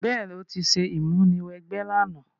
Béèní, o ti se ìmúniwẹgbẹ́ làná